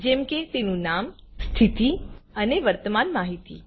જેમ કે તેનું નામ સ્થિતિ અને વર્તમાન માહિતી